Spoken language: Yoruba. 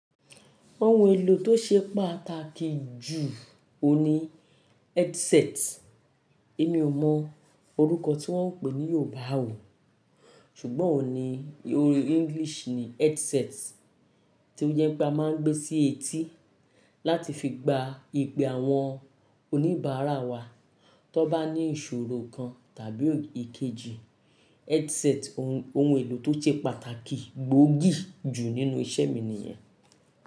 Oun èlò tó ṣe pàtàkì jù òun ni headset. Èmi ò mọ orúkọ tí wọ́n ń pè ní Yorùbá ò, ṣùgbọ́n òun ni orí English ni headset tí ó jẹ́ pé a máa ń gbé sí etí láti fi gba ìpè àwọn oníbàárà wa tó bá ní ìṣòro kan tàbí èkejì. Headset ohun èlò tó ṣe pàtàkì gbóògì jù nínú iṣẹ́ mi nìyẹn.